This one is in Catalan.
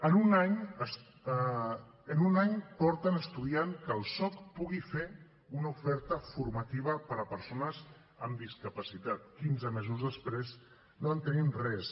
en un any porten estudiant que el soc pugui fer una oferta formativa per a persones amb discapacitat quinze mesos després no tenim res